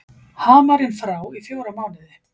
Hamarinn frá í fjóra mánuði